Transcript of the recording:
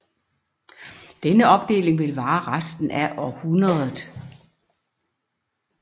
Denne opdeling ville vare resten af århundredet